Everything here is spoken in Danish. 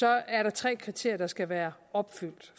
er der tre kriterier der skal være opfyldt